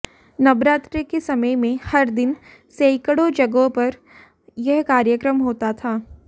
नवरात्र के समय में हर दिन सैकड़ों जगहों पर यह कार्यक्रम होता था